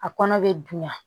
A kɔnɔ be dunya